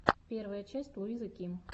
первая часть луизы ким